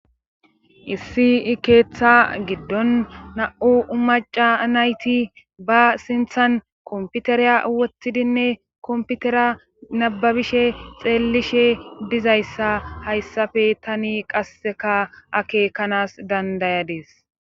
issi i keeththa giddon na7u umaca nayti ba sinthan komputereya woththidinne komputera nababishe xeellishe dizayssa hayssafe tani qasseka akeekanas dandayadees